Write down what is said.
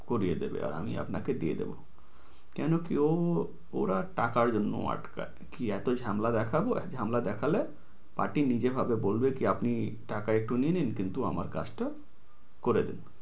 করিয়ে দেবে। আর আমি আপনাকে দিয়ে দেবো। কেনো কি ও ওরা টকার জন্য আটকায়। কি এতোই ঝামলা দেখাবো, ঝামলা দেখালে party নিজে হবে বলবে যে আপনি টাকা একটু নিয়ে নিন। কিন্তু আমার কাজটা করে দিন।